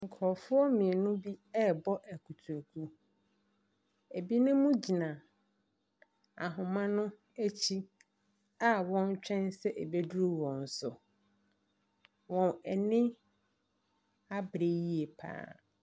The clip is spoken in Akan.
Nkurofoɔ mmienu bi ɛbɔ akutruku. Ebinom gyina ahoma no akyi a wɔtwɛn sɛ ebeduru wɔn so. Wɔn ani abre yie paa.